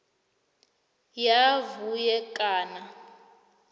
ya vhue kana